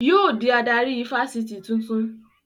Yóò dí adarí ifásitì tuntun